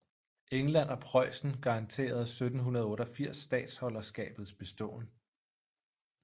England og Preussen garanterede 1788 statholderskabets beståen